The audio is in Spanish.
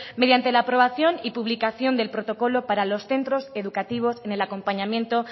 mediante la aprobación y publicación del protocolo para los centros educativos en el acompañamiento